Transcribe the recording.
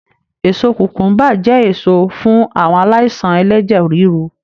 Èso kùkùḿbà jẹ́ èso fún àwọn aláìsàn ẹlẹ́jẹ̀ ríru